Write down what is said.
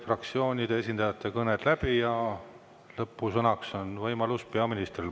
Fraktsioonide esindajate kõned said läbi ja lõpusõnaks on võimalus peaministril.